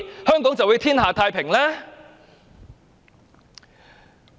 香港是否便會天下太平呢？